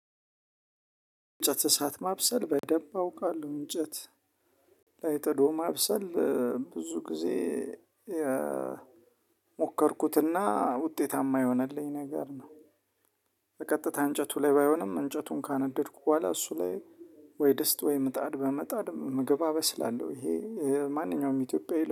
እንጨት እሳት ማብሰል በደንብ አውቃለሁ እንጨት ላይ ጥዶ ማብሰል ብዙ ጊዜ የሞከርኩትና ውጤታማ የሆነልኝ ነገር ነው። በቀጥታ እንጨቱ ላይ ባይሆንም እንጨቱን ካነደድኩ በኋላ እሱ ላይ ወይ ደስት ወይ ምጣድ በመጣድ ምግብ አበስላለሁ። ይሄ ማንኛውም ኢትዮጵያዊ